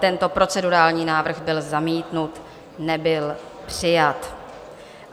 Tento procedurální návrh byl zamítnut, nebyl přijat.